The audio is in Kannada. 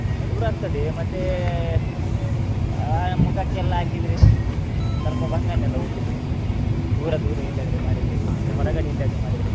ಮನೆ ದೂರ ಆಗ್ತದೆ ಮತ್ತೆ, ಆ ಮುಖಕ್ಕೆ ಎಲ್ಲ ಹಾಕಿದ್ರೆ ಸ್ವಲ್ಪ ಬಂಗ ನೆ ಅಲ್ಲ ಹೋಗ್ಲಿಕ್ಕೆ, ದೂರ ದೂರ ಎಲ್ಲಿ ಆದ್ರೆ ಮಾಡಿದ್ರೆ ಮಾಡಿದ್ರೆ.